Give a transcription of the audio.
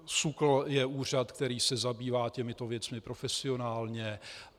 SÚKL je úřad, který se zabývá těmito věcmi profesionálně.